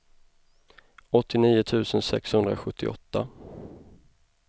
åttionio tusen sexhundrasjuttioåtta